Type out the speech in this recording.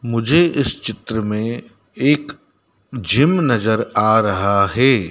मुझे इस चित्र में एक जिम नजर आ रहा है।